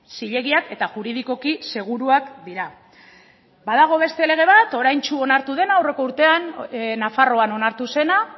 zilegiak eta juridikoki seguruak dira badago beste lege bat oraintsu onartu dena aurreko urtean nafarroan onartu zena